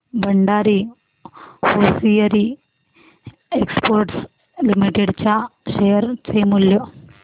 Bhandari hosiery exports limited च्या share चे मूल्य